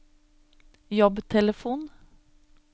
jobbtelefon